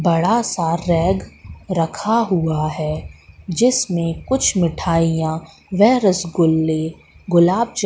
बड़ा सा रैग रखा हुआ है जिसमें कुछ मिठाइयां व रसगुल्ले गुलाब जा--